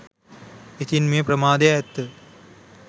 ඉතින් මේ ප්‍රමාදය ඇත්ත